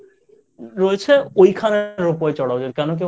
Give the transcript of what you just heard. রয়েছে ওইখানে Ropeway চড়ায় ওদের।